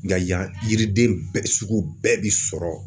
Nka yan yiriden bɛɛ sugu bɛɛ bɛ sɔrɔ.